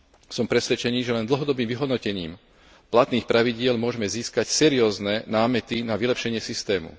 Som presvedčený, že len dlhodobým vyhodnotím platných pravidiel môžme získať seriózne námety na vylepšenie systému.